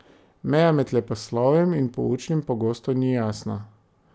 Meja med leposlovjem in poučnim pogosto ni jasna.